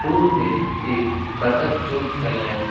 pool में एक बत्तक चोंच फैलाए --